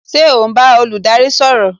Ṣé o n bá olùdarí sọ̀rọ̀?